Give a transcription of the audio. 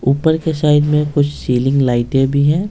ऊपर के साइड में कुछ सीलिंग लाइटें भी है।